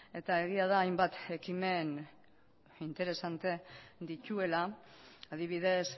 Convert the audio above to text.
ere eta egia da hainbat ekimen interesante dituela adibidez